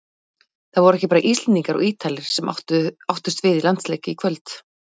Það voru ekki bara Íslendingar og Ítalir sem áttust við í landsleik í kvöld.